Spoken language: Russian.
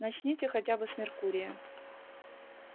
начните хотя бы с меркурия